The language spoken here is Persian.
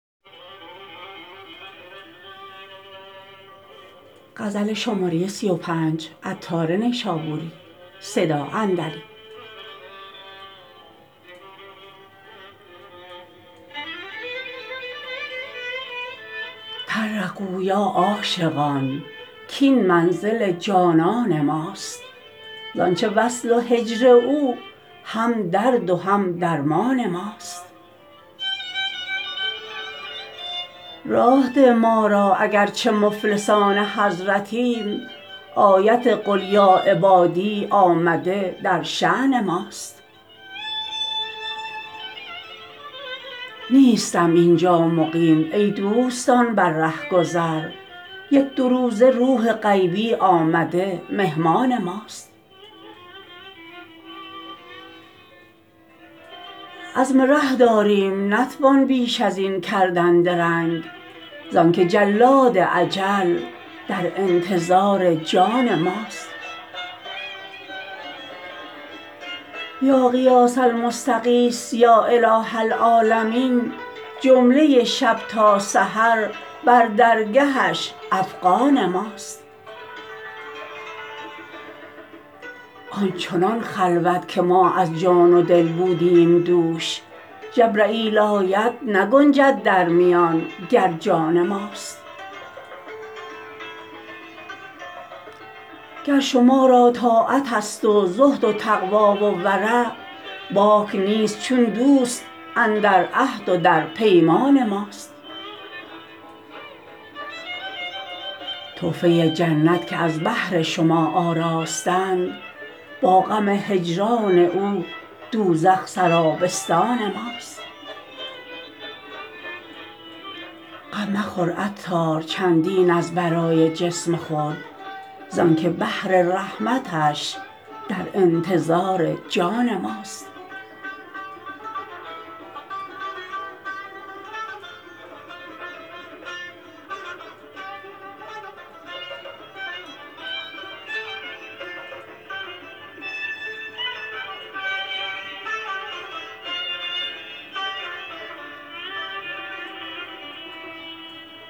طرقوا یا عاشقان کین منزل جانان ماست زانچه وصل و هجر او هم درد و هم درمان ماست راه ده ما را اگر چه مفلسان حضرتیم آیت قل یا عبادی آمده در شان ماست نیستم اینجا مقیم ای دوستان بر رهگذر یک دو روزه روح غیبی آمده مهمان ماست عزم ره داریم نتوان بیش از این کردن درنگ زانکه جلاد اجل در انتظار جان ماست یا غیاث المستغیث یا اله العالمین جمله شب تا سحر بر درگهش افغان ماست آن چنان خلوت که ما از جان و دل بودیم دوش جبرییل آید نگنجد در میان گر جان ماست گر شما را طاعت است و زهد و تقوی و ورع باک نیست چون دوست اندر عهد و در پیمان ماست تحفه جنت که از بهر شما آراستند با غم هجران او دوزخ سرابستان ماست غم مخور عطار چندین از برای جسم خود زانکه بحر رحمتش در انتظار جان ماست